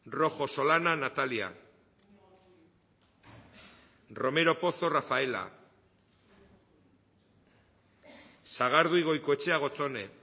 rojo solana natalia romero pozo rafaela sagardui goikoetxea gotzone